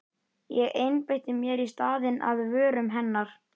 Ég einbeiti mér í staðinn að vörum hennar.